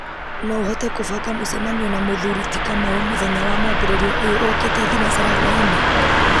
no ũhote kũbanga mũcemanio na mũthuri ti kamau mũthenya wa mwambĩrĩrio ũyũ ũũkĩte thinacara hwaĩ-inĩ